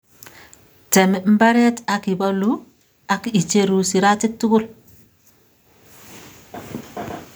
tem mbaret ak ibolu, ak icheru siratik tugul